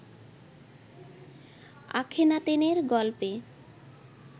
আখেনাতেনের গল্পে